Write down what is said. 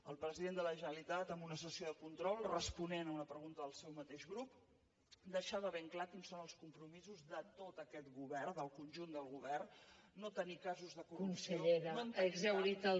el president de la generalitat en una sessió de control responent a una pregunta del seu mateix grup deixava ben clar quins són els compromisos de tot aquest govern del conjunt del govern no tenir casos de corrupció no en tenim cap